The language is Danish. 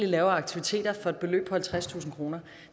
lave af aktiviteter for et beløb på halvtredstusind kroner